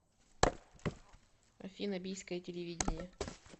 афина бийское телевидение